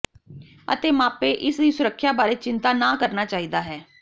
ਅਤੇ ਮਾਪੇ ਇਸ ਦੀ ਸੁਰੱਖਿਆ ਬਾਰੇ ਚਿੰਤਾ ਨਾ ਕਰਨਾ ਚਾਹੀਦਾ ਹੈ